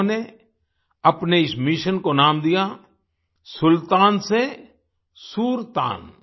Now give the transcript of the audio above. उन्होंने अपने इस मिशन को नाम दिया सुल्तान से सुरतान